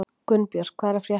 Gunnbjört, hvað er að frétta?